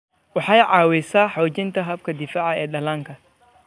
Waxay caawisaa xoojinta habka difaaca ee dhallaanka.